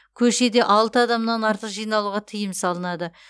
көшеде алты адамнан артық жиналуға тыйым салынады